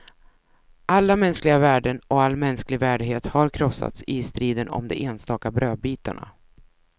Alla mänskliga värden och all mänsklig värdighet har krossats i striden om de enstaka brödbitarna.